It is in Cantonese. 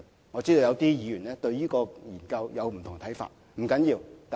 我知道有些議員對這項研究有不同的看法，這不要緊。